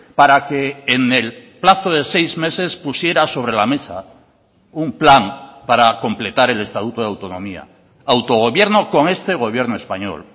para que en el plazo de seis meses pusiera sobre la mesa un plan para completar el estatuto de autonomía autogobierno con este gobierno español